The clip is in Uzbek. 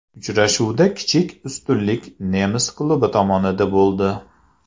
Uchrashuvda kichik ustunlik nemis klubi tomonida bo‘ldi.